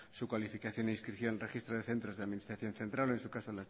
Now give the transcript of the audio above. su calificación e inscripción en el registro de centros que la administración central o en su caso